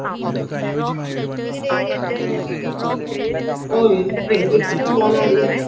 ഓ എനിക്ക് എന്തെങ്കിലു പോണടി